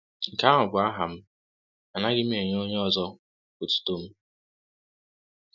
Nke ahụ bụ aha m; Anaghị m enye onye ọzọ otuto m. ”